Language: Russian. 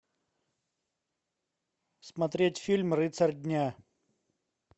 смотреть фильм рыцарь дня